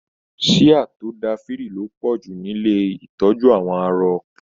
Síá tó n da firi lo pọju nílé ìtọjú àwọn arọ.